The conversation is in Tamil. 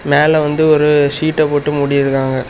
மேல வந்து ஒரு சீட்ட போட்டு மூடி இருக்காங்க.